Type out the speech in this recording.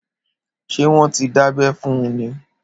Ṣé wọn tí dábẹ́ fún un ní?